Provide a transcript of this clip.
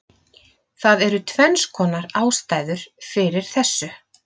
Það eru tvennskonar ástæður fyrir þessu: